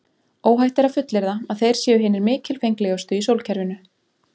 Óhætt er að fullyrða að þeir séu hinir mikilfenglegustu í sólkerfinu.